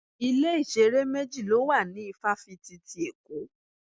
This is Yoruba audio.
Ilé-ìṣeré méjì ló wà ní ifafiti ti Èkó.